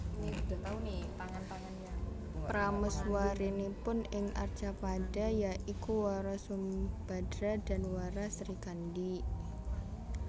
Prameswarinipun ing Arcapada ya iku Wara Sumbadra dan Wara Srikandi